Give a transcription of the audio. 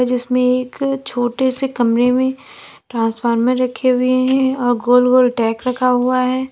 इसमें एक छोटे से कमरे में ट्रांसफार्मर रखे हुए है और गोल गोल रखा हुआ है।